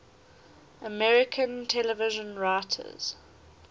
american television writers